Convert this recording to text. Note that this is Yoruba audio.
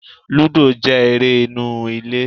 Lúdò jẹ́ eré inú ilé